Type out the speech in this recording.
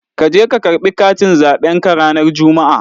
Ka je ka karɓi katin zaɓen ka ranar Juma'a.!